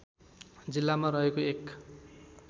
जिल्लामा रहेको एक